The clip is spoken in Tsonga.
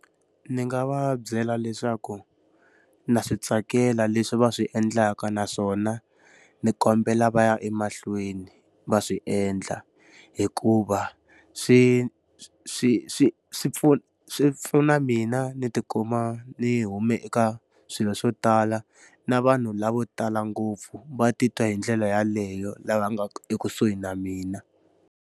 Ndzi nga va byela leswaku na swi tsakela leswi va swi endlaka naswona, ndzi kombela va ya emahlweni va swi endla hikuva swi swi swi swi pfuna mina ndzi ti kuma ndzi hume eka swilo swo tala. Na vanhu lava vo tala ngopfu va titwa hi ndlela yaleyo lava nga ekusuhi na mina.